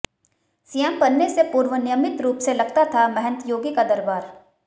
CM बनने से पूर्व नियमित रूप से लगता था महंत योगी का दरबार